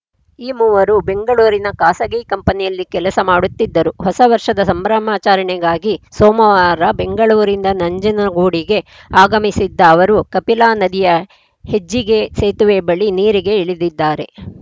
ಈ ಮೂವರು ಬೆಂಗಳೂರಿನ ಖಾಸಗಿ ಕಂಪನಿಯಲ್ಲಿ ಕೆಲಸ ಮಾಡುತ್ತಿದ್ದರು ಹೊಸ ವರ್ಷದ ಸಂಭ್ರಮಾಚರಣೆಗಾಗಿ ಸೋಮವಾರ ಬೆಂಗಳೂರಿನಿಂದ ನಂಜನಗೂಡಿಗೆ ಆಗಮಿಸಿದ್ದ ಅವರು ಕಪಿಲಾ ನದಿಯ ಹೆಜ್ಜಿಗೆ ಸೇತುವೆ ಬಳಿ ನೀರಿಗೆ ಇಳಿದಿದ್ದಾರೆ